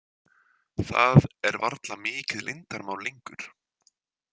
Það er varla mikið leyndarmál lengur.